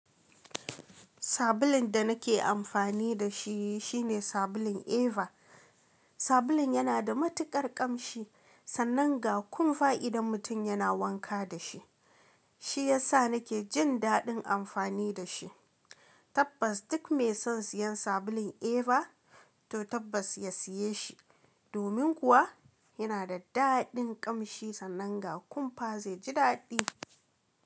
Sabulun da nake amfani da shi shine sabulun Eva. Sabulun yana da matuƙar ƙamshi sannan ga kunfa idan mutum yana wanka da shi. Shi ya sa nake jin daɗin amfani da shi. Tabbas duk mai son siyan sabulun Eva to tabbas ya siye shi. Domin kuwa yana da daɗin ƙamshi sannan ga kunfa zai ji daɗi.